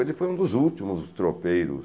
Ele foi um dos últimos tropeiros.